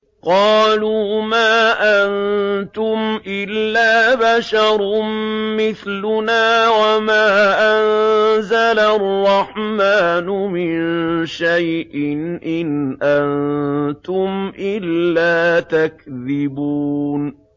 قَالُوا مَا أَنتُمْ إِلَّا بَشَرٌ مِّثْلُنَا وَمَا أَنزَلَ الرَّحْمَٰنُ مِن شَيْءٍ إِنْ أَنتُمْ إِلَّا تَكْذِبُونَ